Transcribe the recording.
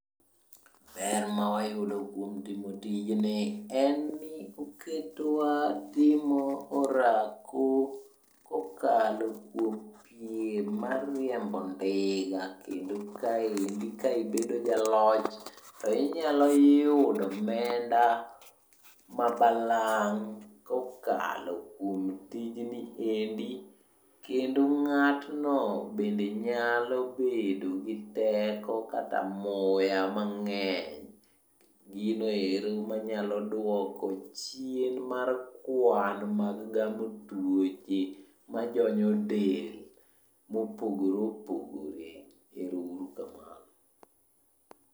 Ber mawayudo kuom timo tijni en ni oketowa timo orako kokalo kuom piem mar riembo ndiga. Kendo kaendi ka ibedo jaloch to inyalo yudo omenda ma balang' kokalom kuom tijni endi. Kendo ng'atno bende nyalo bedo gi teko kata muya mang'eny. Ginoero manyalo dwoko chien mar kwan mag gamo tuoche majonyo del mopogore opogore. Ero uru kamano.